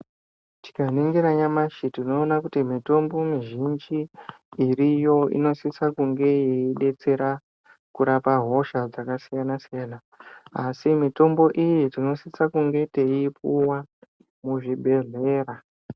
Tikaningira nyamashi tinoona kuti mitombo mizhingi iriyo inosisa kunge yeidetsera kurapa hosha dzakasiyana-siyana. Asi mitombo iyi tinosisa kunge teiipuwa muzvibhedhlera.